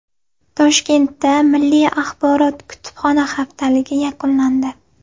Toshkentda milliy axborot-kutubxona haftaligi yakunlandi.